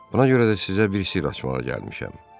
Buna görə də sizə bir sirr açmağa gəlmişəm.